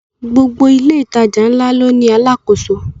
Gbogbo ilé ìtajà ńlá ló ní àlákoso